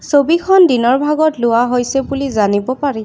ছবিখন দিনৰ ভাগত লোৱা হৈছে বুলি জানিব পাৰি।